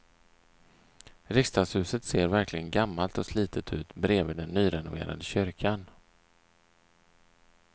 Riksdagshuset ser verkligen gammalt och slitet ut bredvid den nyrenoverade kyrkan.